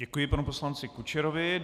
Děkuji panu poslanci Kučerovi.